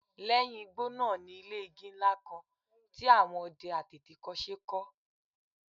Lẹ́yìn igbó náà ni ilé igi ńlá kan tí àwọn ọdẹ àtètèkọ́ṣe kọ́